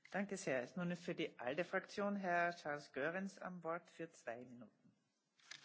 Madame la Présidente, le consensus européen pour le développement, c'est comme les communiqués de presse de l'OTAN.